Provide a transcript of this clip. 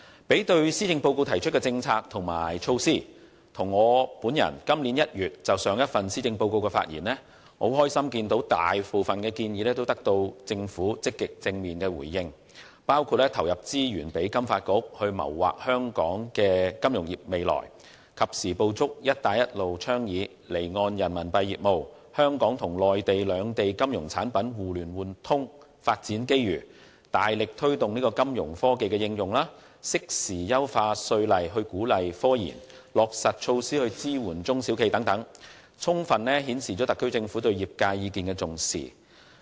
將施政報告提出的政策和措施與我在今年1月就上一份報告的發言內容作比較，我很高興大部分建議均獲得政府積極和正面的回應，包括投放資源讓香港金融發展局謀劃香港金融業的未來，及時捕捉"一帶一路"倡議的離岸人民幣業務和香港與內地兩地金融產品互聯互通等發展機遇，大力推動金融科技的應用，適時優化稅務法例以鼓勵科研，以及落實措施支援中小企業等，充分顯示特區政府對業界意見的重視。